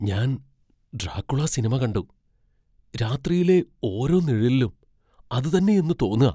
ഞാൻ Dracula cinema കണ്ടു, രാത്രിയിലെ ഓരോ നിഴലിലും അത് തന്നെയെന്ന് തോന്നാ.